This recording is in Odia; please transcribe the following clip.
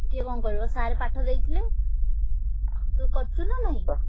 କିଏ କଣ କରିବ sir ପାଠ ଦେଇଥିଲେ। ତୁ କରିଚୁ ନା ନାଇଁ?